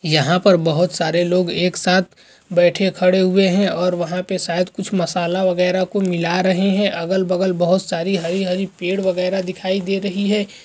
यहां पर बहुत सारे लोग एक साथ बैठे खड़े हुए हैं और वहां पे शायद कुछ मसाला वगेरा को मिला रहे है| अगल बगल बहोत सारी हरी हरी पेड़ वगेरा दिखाई दे रही है।